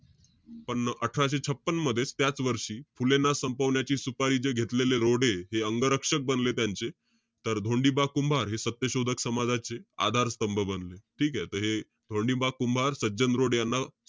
छपन्न~ अठराशे छपन्न मध्येच, त्याच वर्षी, फुलेंना संपवण्याची सुपारी जे घेतलेले रोडे, हे अंगरक्षक बनले त्यांचे. तर धोंडिबा कुंभार हे सत्यशोधक समाजाचे आधार स्तंभ बनले. ठीके? त हे धोंडिबा कुंभार, सज्जन डोरे यांना,